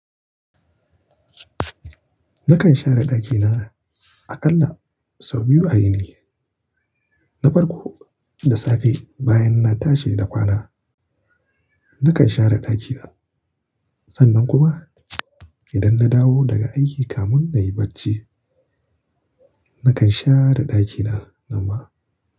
Nakan share ɗakina aƙalla sau biyu a yini. Na farko da safe bayan na tashi da kwana, nakan share ɗakina. Sannan kuma idan na dawo daga aiki kamun nayi bacci, nakan share ɗakina nanma.